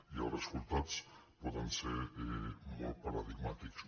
i els resultats poden ser molt paradigmàtics